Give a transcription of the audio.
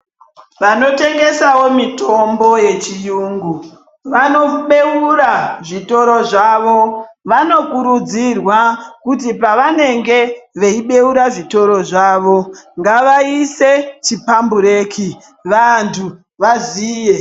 Vanotengesawo mitombo yechiyungu vanobeura zvitoro zvavo. Vanokurudzirwa kuti pavanenge veibeura zvitoro zvavo ngavaise zvikwambureki vanthu vaziye.